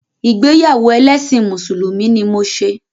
Ìgbéyàwó ẹlẹ́ṣin Mùsùlùmí ni mo ṣe.